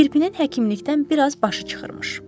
Kirpinin həkimlikdən biraz başı çıxırmış.